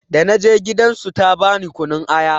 Da na je gidan su ta bani kunun aya.